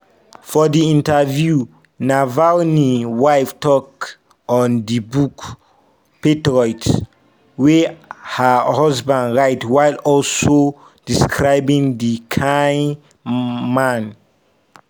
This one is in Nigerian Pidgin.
for di interview navalny wife tok on di book 'patriot' wey her husband write while also describing di kian man